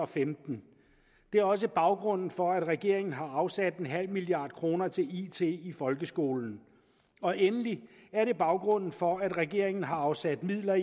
femten det er også baggrunden for at regeringen har afsat nul milliard kroner til it i folkeskolen og endelig er det baggrunden for at regeringen har afsat midler